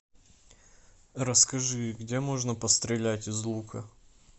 расскажи где можно пострелять из лука